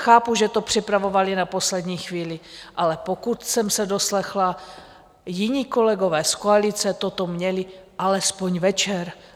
Chápu, že to připravovali na poslední chvíli, ale pokud jsem se doslechla, jiní kolegové z koalice toto měli alespoň večer.